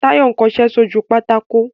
Táyọ̀ ń kọṣẹ́ sójú pátákó